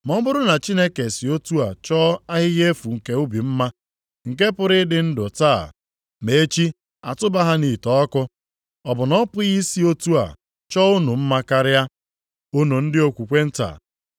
Ma ọ bụrụ na Chineke si otu a chọọ ahịhịa efu nke ubi mma, nke pụrụ ịdị ndụ taa ma echi atụba ha nʼite ọkụ, ọ bụ na ọ pụghị i si otu a chọọ unu mma karịa? Unu ndị okwukwe nta.